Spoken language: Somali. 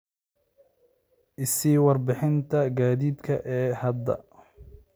i sii warbixinta gaadiidka ee hadda